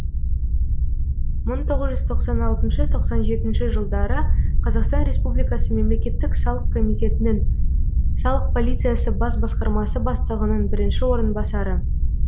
мың тоғыз жүз тоқсан алтыншы тоқсан жетінші жылдары қазақстан республикасы мемлекеттік салық комитетінің салық полициясы бас басқармасы бастығының бірінші орынбасары